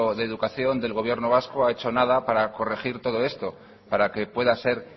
de educación del gobierno vasco ha hecho nada para corregir todo esto para que pueda ser